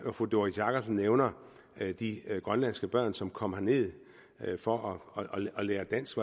når fru doris jakobsen nævner de grønlandske børn som kom herned for at lære dansk